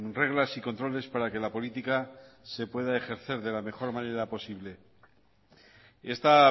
reglas y controles para que la política se pueda ejercer de la mejor manera posible esta